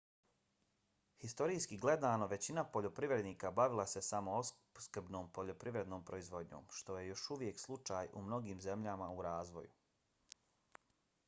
historijski gledano većina poljoprivrednika bavila se samoopskrbnom poljoprivrednom proizvodnjom što je još uvijek slučaj u mnogim zemljama u razvoju